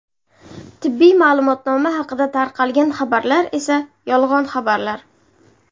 Tibbiy ma’lumotnoma haqida tarqalgan xabarlar esa yolg‘on xabarlar.